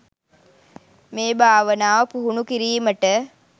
මේ භාවනාව පුහුණු කිරීමට